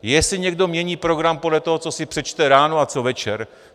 Jestli někdo mění program podle toho, co si přečte ráno a co večer.